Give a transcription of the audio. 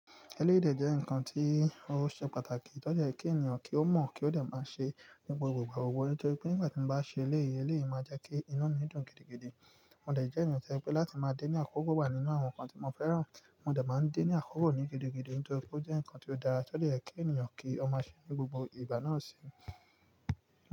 Ẹlẹ́yi de jẹ́ ǹkan tí ó ṣe pàtàkì, tó jẹ́ ye kí ènìyàn kí ó mọ̀ kí ó de máa ṣe ni gbogbo ìgbà gbogbo. Nítorí pé nígbà tí mo bá ṣe eléyè, eléyè máa jẹ́ kí inu mi dùn gidigidi. Mo dẹ̀ jẹ́ ènìyàn tí pé láti máa dé ní àkókò wa ninu àwọn ǹkan tí mo fẹ́ràn, mo dẹ̀ máa ń dé ní àkókò ní gidigidi. Nítorí pé ó jẹ́ ǹkan tí ó dára, tó de ye kí ènìyàn kí ó máa ṣe ni gbogbo ìbà náà síi.